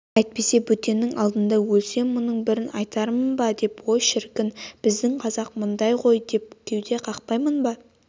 әйтпесе бөтеннің алдында өлсем мұның бірін айтармын ба ой шіркін біздің қазақ мынандай ғой деп кеуде қақпаймын ба